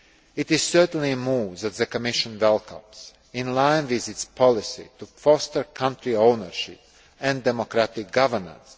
It is certainly a move that the Commission welcomes, in line with its policy to foster country ownership and democratic governance.